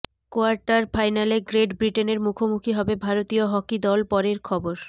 quarter ফাইনালে great ব্রিটেনের মুখোমুখি হবে ভারতীয় হকি দল পরের খবর